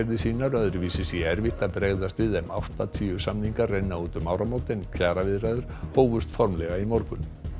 sínar öðruvísi sé erfitt að bregðast við þeim áttatíu samningar renna út um áramót en kjaraviðræður hófust formlega í morgun